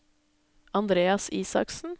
Andreas Isaksen